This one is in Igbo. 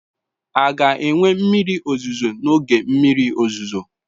A ga-enwe mmiri ozuzo n'oge mmiri ozuzo?